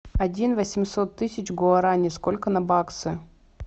один восемьсот тысяч гуарани сколько на баксы